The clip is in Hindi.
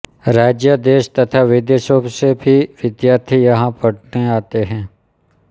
राज्य देश तथा विदेशों से भी विद्यार्थी यहाँ पढने आते है